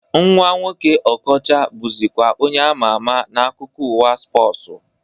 Nwa nwoke Okọcha bụzikwa onye ama ama n'akụkọ ụwa spọsu